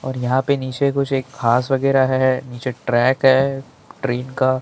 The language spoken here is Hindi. और यहाँ पे नीचे कुछ एक घास बगैरा है नीचे ट्रैक है ट्रेन का ।